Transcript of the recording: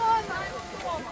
Orada evdəyik!